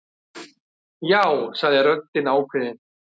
Já, sagði röddin ákveðin.